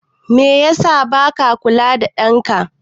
Meye yasa baka kula ɗan ka?